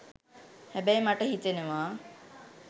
හැබැයි මට හිතෙනව